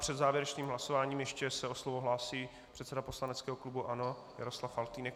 Před závěrečným hlasováním se ještě o slovo hlásí předseda poslaneckého klubu ANO Jaroslav Faltýnek.